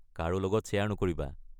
কাৰো লগত শ্বেয়াৰ নকৰিবা...